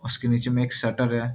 उसके नीचे में एक शटर है।